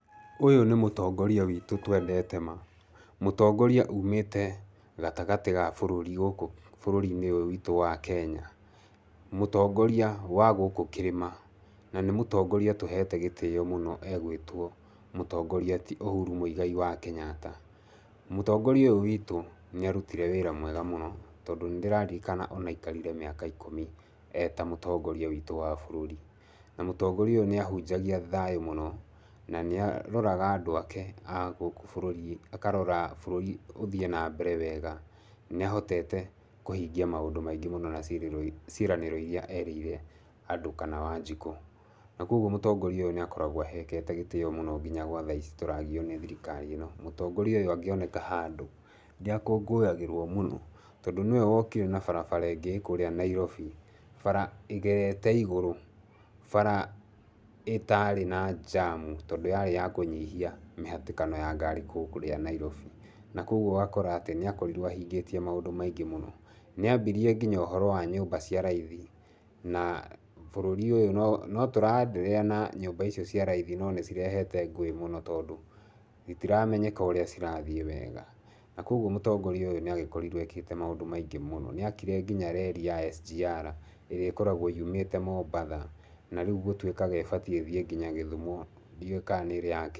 Ũyũ nĩ mũtongoria witũ twendete ma, mũtongoria umĩte gatagatĩ ga bũrũri gũkũ bũrũri-inĩ ũyũ witũ wa Kenya. Mũtongoria wa gũkũ kĩrĩma. Na nĩ mũtongoria tũhete gĩtĩo mũno egwĩtwo mũtongoria ti Uhuru Muigai wa Kenyatta. Mũtongoria ũyũ witũ nĩ arutire wĩra mwega mũno, tondũ nĩ ndĩraririkana aikarire mĩaka ikũmi e ta mũtongoria witũ wa bũrũri. Na mũtongoria ũyũ nĩ ahunjagia thayũ mũno na nĩ aroraga andũ ake a gũkũ bũrũrĩ-inĩ, akarora bũrũri ũthiĩ na mbere wega. Nĩahotete kũhingia maũndũ maingĩ mũno na ciĩranĩro irĩa erĩire andũ kana Wanjikũ. Na kwoguo mũtongoria ũyũ nĩ akoragwo ahekete gĩtĩo mũno nginya gwa thaa ici tũragio nĩ thirikari ĩno. Mũtongoria ũyũ angĩoneka handũ nĩ akũngũyagĩrwo mũno, tondũ nĩwe wokire na bara ĩngĩ ĩĩ kũrĩa Nairobi, bara ĩgerete igũrũ, bara ĩtarĩ na jam tondũ yarĩ ya kũnyihia mĩhatĩkano ya ngari kũrĩa Nairobi. Na koguo ũgakora atĩ nĩakorirwo ahingĩtie maũndũ maingĩ mũno. Nĩ ambirie nginya ũhoro wa nyũmba cia raithi. Na bũrũri ũyũ no tũre-endelea na nyũmba icio cia raithi no nĩ cirehete ngũĩ mũno tondũ itiramenyeka ũrĩa cirathiĩ wega. Koguo mũtongoria ũyũ nĩ agĩkorirwo ekĩte maũndũ maingi mũno. Nĩ akire nginya reri ya SGR ĩrĩa ĩkoragwo yumĩte Mombatha na rĩu gũtuĩkaga ĩbatiĩ ĩthiĩ nginya Gĩthumo. Ndiũwĩ kana nĩ ĩrĩ ya...